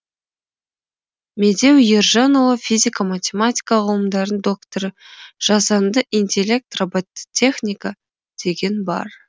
медеу ержанұлы физика математика ғылымдарының докторы жасанды интеллект робототехника деген бар